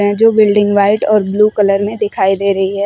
जो building white और blue colour में दिखाई दे रही है।